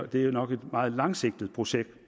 det nok er et meget langsigtet projekt